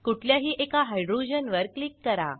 कुठल्याही एका हायड्रोजनवर क्लिक करा